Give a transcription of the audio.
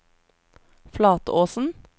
Flatåsen